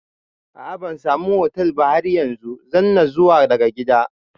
A'a bansamu hostel ba har yanzu, zanna zuwa daga gida